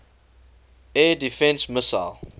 air defense missile